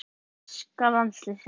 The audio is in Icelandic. Besti árangur íslensks landsliðs